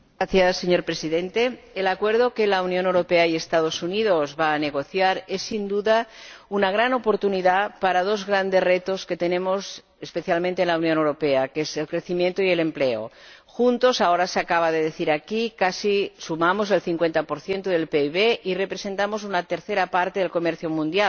Señor Presidente, el Acuerdo que van a negociar la Unión Europea y los Estados Unidos es, sin duda, una gran oportunidad para dos grandes retos que tenemos especialmente en la Unión Europea, que son el crecimiento y el empleo. Juntos ahora se acaba de decir aquí casi sumamos el 50 del PIB y representamos una tercera parte del comercio mundial.